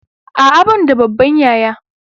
A'a ban da babban yaya.